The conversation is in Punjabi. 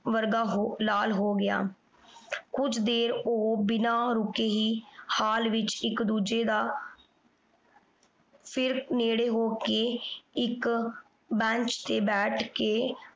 ਵਰਗਾ ਹੋ ਲਾਲ ਹੋ ਗਿਆ। ਕੁਝ ਦੇਰ ਉਹ ਬਿਨਾਂ ਰੁਕੇ ਹੀ ਹਾਲ ਵਿਚ ਇਕ ਦੂਜੇ ਦਾ ਸਿਰਫ ਨੇੜੇ ਹੋ ਕੇ ਇਕ bench ਤੇ ਬੈਠ ਕੇ